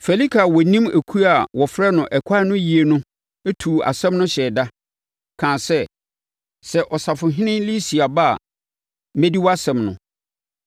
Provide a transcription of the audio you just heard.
Felike a na ɔnim ekuo a wɔfrɛ no Ɛkwan no yie no tuu asɛm no hyɛɛ da, kaa sɛ, “Sɛ Ɔsafohene Lisia ba a, mɛdi wʼasɛm no.”